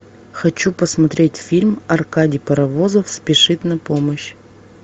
хочу посмотреть фильм аркадий паровозов спешит на помощь